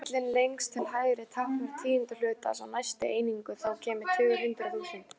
Rimillinn lengst til hægri táknar tíundu hluta, sá næsti einingu, þá koma tugur, hundrað, þúsund.